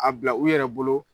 A bila u yɛrɛ bolo